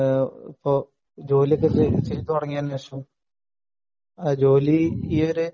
പിന്നെ നമ്മൾ ജോലിക്കെത്തി തുടങ്ങിയതിനുശേഷം ജോലി ഈയൊരു